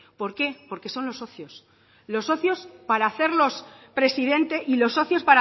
por qué porque son los socios los socios para hacerlos presidente y los socios